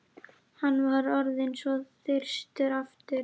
Hann var orðinn svo þyrstur aftur.